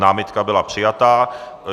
Námitka byla přijata.